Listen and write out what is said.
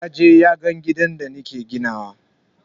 Yaje yaga gidan da nake ginawa.